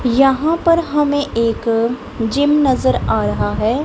यहां पर हमें एक जिम नजर आ रहा है।